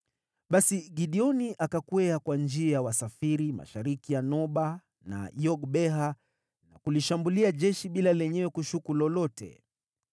Basi Gideoni akakwea kwa njia ya wasafiri mashariki ya Noba na Yogbeha na kulishambulia jeshi ambalo halikushuku lolote.